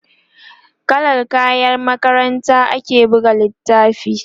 kallan kayan makarantar ake buga littafin